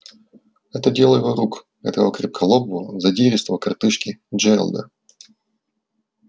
это дело его рук этого крепколобого задиристого коротышки джералда